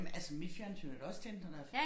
Jamen altså mit fjernsyn er da også tændt når der er